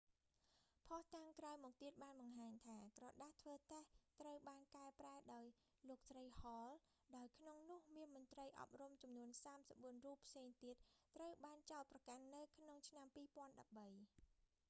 ភស្តុតាងក្រោយមកទៀតបានបង្ហាញថា ក្រដាសធ្វើតេស្ត ត្រូវបានកែប្រែដោយលោកស្រី ហល hall ដោយក្នុងនោះមានមន្រ្តីអប់រំចំនួន 34 រូបផ្សេងទៀតត្រូវបានចោទប្រកាន់នៅក្នុងឆ្នាំ2013